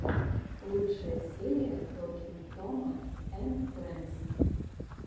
лучшая серия токинг тома энд фрэндс